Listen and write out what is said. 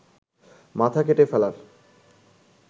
মাথা কেটে ফেলার